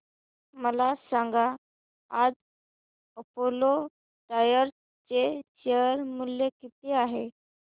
मला सांगा आज अपोलो टायर्स चे शेअर मूल्य किती आहे